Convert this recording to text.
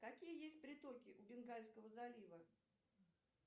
какие есть притоки у бенгальского залива